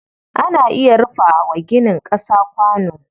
Ana iya rufa wa ginin ƙasa kwano.